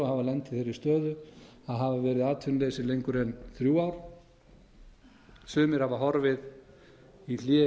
lent í þeirri stöðu að hafa verið atvinnulausir lengur en þrjú ár sumir hafa horfið í hlé inn